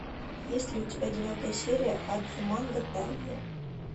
есть ли у тебя девятая серия адзуманга дайо